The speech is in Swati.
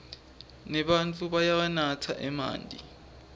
nebatfu bayawanatsa emanti